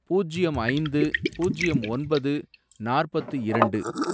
பூஜ்யம் ஐந்து, பூஜ்யம் ஒன்பது, நாற்பத்து இரண்டு